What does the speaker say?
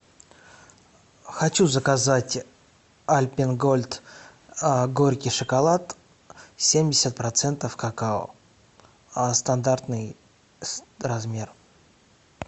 хочу заказать альпен гольд горький шоколад семьдесят процентов какао стандартный размер